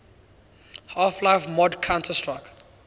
half life mod counter strike